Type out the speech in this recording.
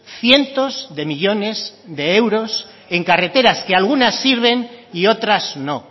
cientos de millónes de euros en carreteras que algunas sirven y otras no